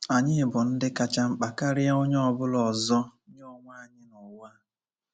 Anyị bụ ndị kacha mkpa karịa onye ọ bụla ọzọ nye onwe anyị nụwa a.